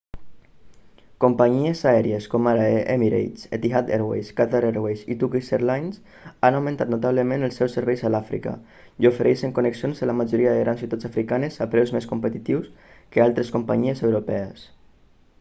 companyies aèries com ara emirates etihad airways qatar airways i turkish airlines han augmentat notablement els seus serveis a l'àfrica i ofereixen connexions a la majoria de grans ciutats africanes a preus més competitius que altres companyies europees